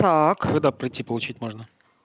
так когда прийти получить можно